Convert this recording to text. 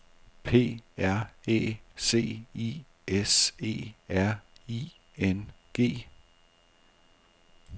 P R Æ C I S E R I N G